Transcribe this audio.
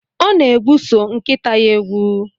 Ọ na-egwuso nkịta ya egwu